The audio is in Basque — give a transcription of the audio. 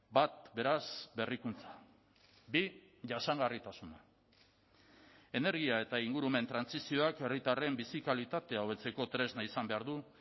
bat beraz berrikuntza bi jasangarritasuna energia eta ingurumen trantsizioak herritarren bizi kalitatea hobetzeko tresna izan behar du